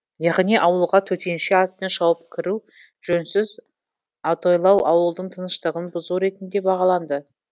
яғни ауылға төтенше атпен шауып кіру жөнсіз атойлау ауылдың тыныштығын бұзу ретінде бағаланды